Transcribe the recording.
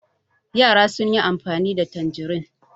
Yara sun yi amfani da tanjirin.